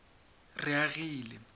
reagile